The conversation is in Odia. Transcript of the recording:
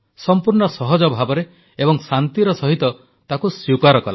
ସମ୍ପୂର୍ଣ୍ଣ ସହଜ ଭାବରେ ଏବଂ ଶାନ୍ତିର ସହିତ ତାକୁ ସ୍ୱୀକାର କଲା